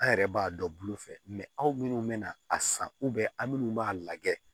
An yɛrɛ b'a dɔn bulu fɛ aw minnu bɛna a san aw minnu b'a lajɛ